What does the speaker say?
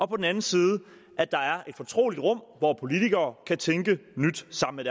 på den anden side er et fortroligt rum hvor politikere kan tænke nyt sammen